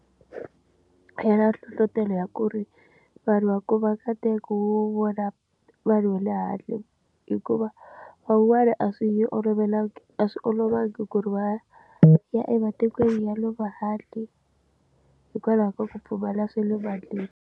Ya na nhlohlotelo ya ku ri vanhu va ko va nkateko wo vona vanhu va le handle hikuva van'wana a swi olovelangi a swi olovangi ku ri va ya ematikweni ya le handle hikwalaho ka ku pfumala swa le mandleni.